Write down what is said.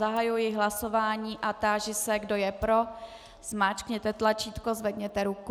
Zahajuji hlasování a táži se, kdo je pro, zmáčkněte tlačítko, zvedněte ruku.